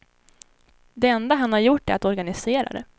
Det enda han har gjort är att organisera det.